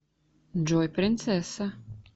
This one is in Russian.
джой принцесса